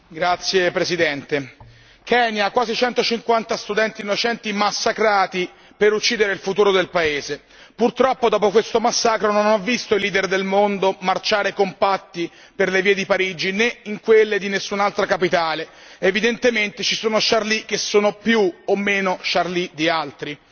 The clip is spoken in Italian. Signor Presidente, onorevoli colleghi, Kenya, quasi 150 studenti innocenti massacrati per uccidere il futuro del paese. Purtroppo, dopo questo massacro non ho visto i leader del mondo marciare compatti per le vie di Parigi né in quelle di nessun'altra capitale. Evidentemente ci sono Charlie che sono più o meno Charlie di altri.